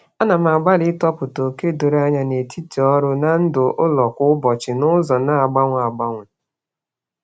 Ana m agbalị ịtọpụta oke doro anya n'etiti ọrụ na ndụ ụlọ kwa ụbọchị n'ụzọ na-agbanwe agbanwe.